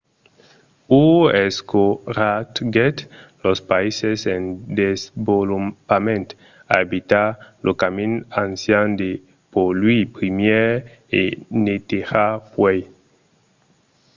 hu encoratgèt los païses en desvolopament a evitar lo camin ancian de polluir primièr e netejar puèi.